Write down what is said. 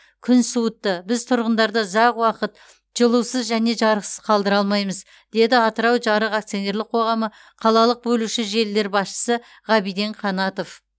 күн суытты біз тұрғындарды ұзақ уақыт жылусыз және жарықсыз қалдыра алмаймыз деді атырау жарық акционерлік қоғамы қалалық бөлуші желілер басшысы ғабиден қанатов